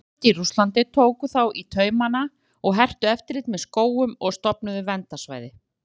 Yfirvöld í Rússlandi tóku þá í taumanna og hertu eftirlit með skógum og stofnuðu verndarsvæði.